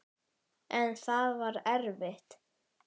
En það var erfitt.